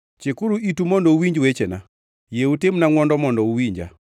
“Chikuru itu mondo uwinj wechena; yie utimna ngʼwono mondo uwinja.